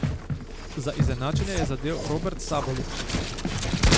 Za izenačenje je zadel Robert Sabolič.